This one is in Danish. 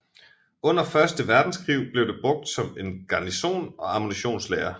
Under første verdenskrig blev det brugt som en garnison og ammunitionslager